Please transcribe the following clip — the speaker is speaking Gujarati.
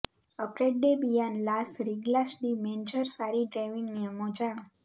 અપ્રૅડડે બિયાન લાસ રીગ્લાસ ડી મૅન્જર સારી ડ્રાઇવિંગ નિયમો જાણો